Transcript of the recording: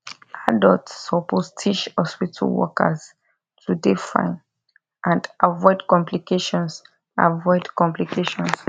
adults suppose teach hospitu workers to dey fine and avoid complications avoid complications